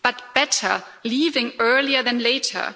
But better leaving earlier than later.